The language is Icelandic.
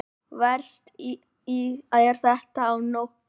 Verst er þetta á nóttunni.